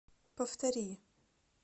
повтори